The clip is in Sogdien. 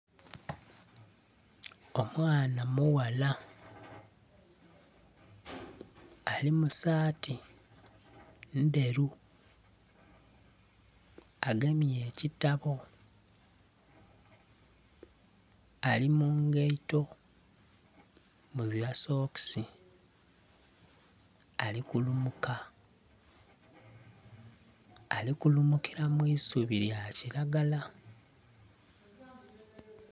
Omwaana mughala ali musaati endheru agemye ekitabo, ali mungaito muzila sokisi ali kulumuka ali kulumukila mwisubi lya kilagala.